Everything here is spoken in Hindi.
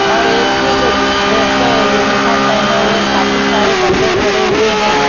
और एक ही ग ड्रेस के यूनीफॉर्म पहने हुए काफी सारे बंदे खड़े हुए हैं।